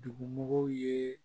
Dugumɔgɔw ye